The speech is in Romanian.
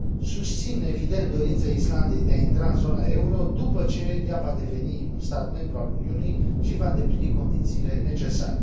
Susțin, evident, dorința Islandei de a intra în zona euro după ce ea va deveni un stat membru al Uniunii și va îndeplini condițiile necesare.